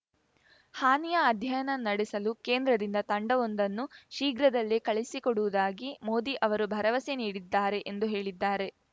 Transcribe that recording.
ಹಾನಿಯ ಅಧ್ಯಯನ ನಡೆಸಲು ಕೇಂದ್ರದಿಂದ ತಂಡವೊಂದನ್ನು ಶೀಘ್ರದಲ್ಲೇ ಕಳುಹಿಸಿಕೊಡುವುದಾಗಿ ಮೋದಿ ಅವರು ಭರವಸೆ ನೀಡಿದ್ದಾರೆ ಎಂದು ಹೇಳಿದ್ದಾರೆ